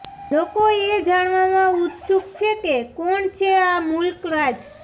લોકો એ જાણવામાં ઉત્સુક છે કે કોણ છે આ મુલ્કરાજ